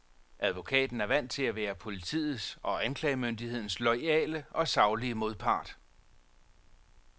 Advokaten er vant til at være politiets og anklagemyndighedens loyale og saglige modpart.